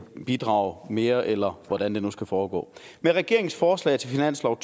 bidrage mere eller hvordan det nu skal foregå med regeringens forslag til finanslov